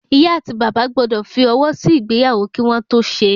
ìyá ati bàbá gbọ́dọ̀ fi ọwọ sí ìgbéyàwó kí wọ́n tó ṣe